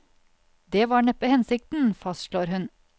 Det var neppe hensikten, fastslår hun.